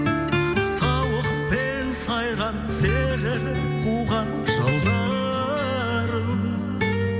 сауық пен сайран серік қуған жылдарым